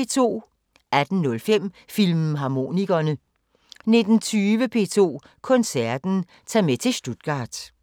18:05: Filmharmonikerne 19:20: P2 Koncerten: Ta' med til Stuttgart